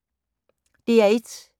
DR1